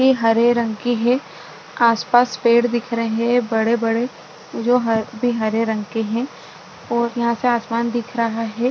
ये हरे रंग की है आसपास पेड़ दिख रहे है बड़े बड़े जो ह भी हरे रंग के है और यहाँ से आसमान दिख रहा है।